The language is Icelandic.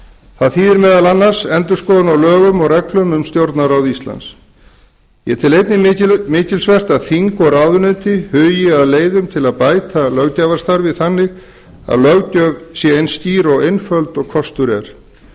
það þýðir meðal annars endurskoðun á lögum og reglum um stjórnarráð íslands ég tel einnig mikilsvert að þing og ráðuneyti hugi að leiðum til að bæta löggjafarstarfið þannig að löggjöf sé eins skýr og einföld og kostur er